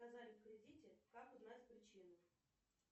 отказали в кредите как узнать причину